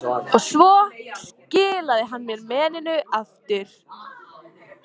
Svo skilaði hann mér meninu aftur.